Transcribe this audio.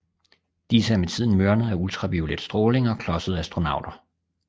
Disse er med tiden mørnet af ultraviolet stråling og klodsede astronauter